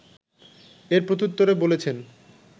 এর প্রত্যুত্তরে বলেছেন